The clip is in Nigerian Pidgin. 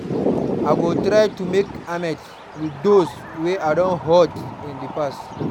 I go try to make amends with those wey I don hurt in the past.